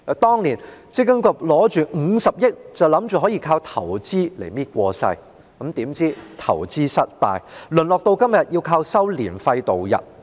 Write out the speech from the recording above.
當年積金局心想用這50億元進行投資，便可應付日常營運開支，殊不知投資失敗，淪落到今天要靠收取註冊年費來營運。